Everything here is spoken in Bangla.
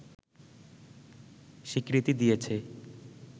স্বীকৃতি দিয়েছে